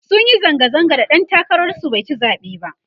sunyi zanga zanga da ɗan takarar su baici zaɓe ba